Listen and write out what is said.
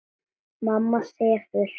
Mamma sefur.